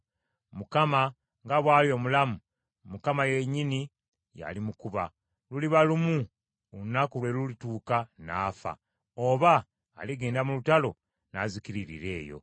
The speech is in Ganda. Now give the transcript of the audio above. Mukama nga bw’ali omulamu, Mukama yennyini yali mukuba. Luliba lumu, olunaku lwe lulituuka n’afa, oba aligenda mu lutalo n’azikiririra eyo.